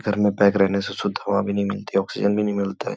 घर में पैक रहने से शुद्ध हवा भी नहीं मिलती ऑक्सीजन भी नहीं मिलतते।